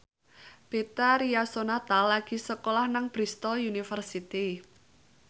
Betharia Sonata lagi sekolah nang Bristol university